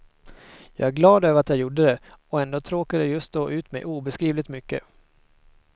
Jag är glad över att jag gjorde det, och ändå tråkade det just då ut mig obeskrivligt mycket.